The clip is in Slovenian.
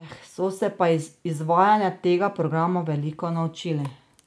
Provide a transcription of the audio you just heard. So se pa iz izvajanja tega programa veliko naučili.